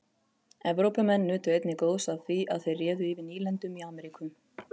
evrópumenn nutu einnig góðs af því að þeir réðu yfir nýlendum í ameríku